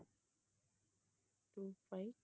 two five